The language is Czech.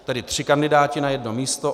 Tedy tři kandidáti na jedno místo.